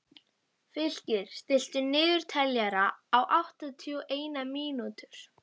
Fylkir, stilltu niðurteljara á áttatíu og eina mínútur.